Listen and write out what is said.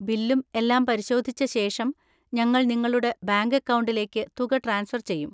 ബില്ലും എല്ലാം പരിശോധിച്ച ശേഷം, ഞങ്ങൾ നിങ്ങളുടെ ബാങ്ക് അക്കൗണ്ടിലേക്ക് തുക ട്രാൻസ്ഫർ ചെയ്യും.